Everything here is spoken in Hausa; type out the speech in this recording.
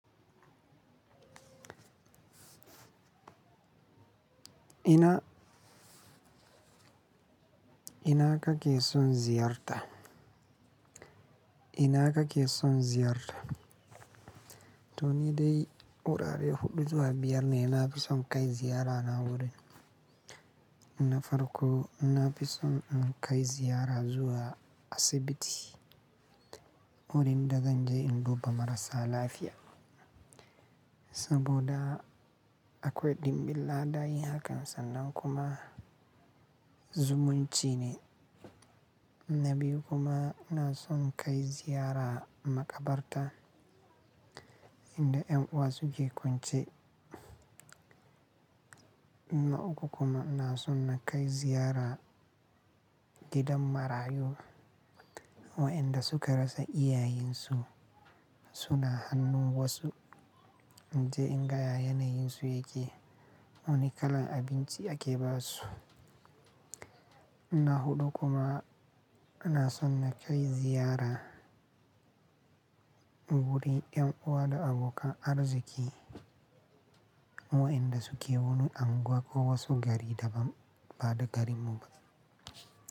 Ina, ina kake son ziyarta? Ina kake son ziyarta? To ni dai wurare huɗu zuwa biyar ne na fi son kai ziyarana wurin. Na farko, na fi son in kai ziyara zuwa asibiti wurin da zan je in duba marasa lafiya saboda akwai ɗimbin ladabi haka sannan kuma zumunci ne. Na biyu kuma ina son kai ziyara makabarta inda ƴan uwa suke kwance. Na uku kuma na so na kai ziyara gidan marayu waɗanda suka rasa iyayensu suna hannu wasu. Zan je in ga yanayensu yake, wane kalan abinci ake ba su. Na huɗu kuma na so na kai ziyara wurin ƴan uwa da abokan arziki waɗanda suke wani anguwa ko wasu gari da ba da gari mu ba.